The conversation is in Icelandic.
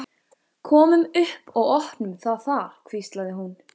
Komum upp og opnum það þar hvíslaði hann.